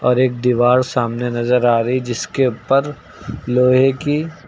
और एक दीवार सामने नजर आ रही जिसके ऊपर लोहे की--